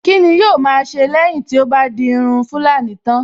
Kíni yóò ma a ṣe lẹ́yìn tí ó bá di irun tulani tán?